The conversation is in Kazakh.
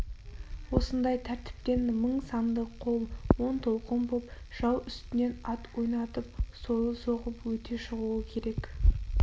осындай тәртіптен мың санды қол он толқын боп жау үстінен ат ойнатып сойыл соғып өте шығуы керек